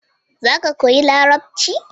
Za ka koyi larabci